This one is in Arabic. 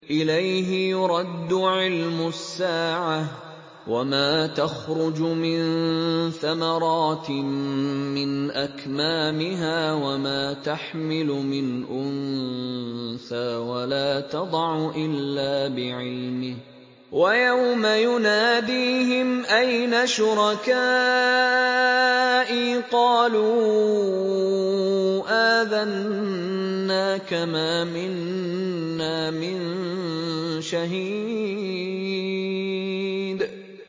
۞ إِلَيْهِ يُرَدُّ عِلْمُ السَّاعَةِ ۚ وَمَا تَخْرُجُ مِن ثَمَرَاتٍ مِّنْ أَكْمَامِهَا وَمَا تَحْمِلُ مِنْ أُنثَىٰ وَلَا تَضَعُ إِلَّا بِعِلْمِهِ ۚ وَيَوْمَ يُنَادِيهِمْ أَيْنَ شُرَكَائِي قَالُوا آذَنَّاكَ مَا مِنَّا مِن شَهِيدٍ